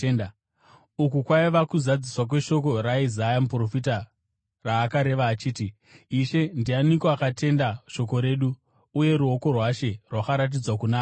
Uku kwaiva kuzadziswa kweshoko raIsaya muprofita raakareva achiti: “Ishe, ndianiko akatenda shoko redu, uye ruoko rwaShe rwakaratidzwa kuna aniko?”